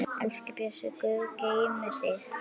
Elsku Bjössi, Guð geymi þig.